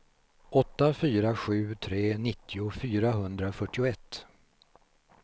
åtta fyra sju tre nittio fyrahundrafyrtioett